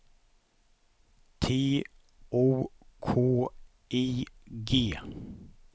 T O K I G